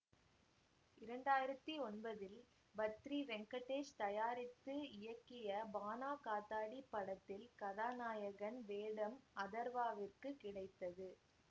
இரண்டாயிரத்தி ஒன்பதில் பத்ரி வெங்கடேஷ் தயாரித்து இயக்கிய பாணா காத்தாடி படத்தில் கதாநாயகன் வேடம் அதர்வாவிற்கு கிடைத்தது